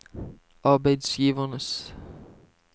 arbeidsgivernes